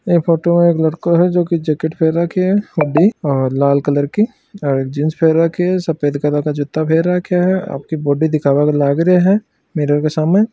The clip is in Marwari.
या फोटो में एक लड़को है जो जैकिट पैर राखी है रेड कलर की सफ़ेद कलर का --